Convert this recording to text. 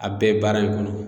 A bɛɛ baara in kɔnɔ